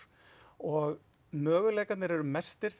og möguleikarnir eru mestir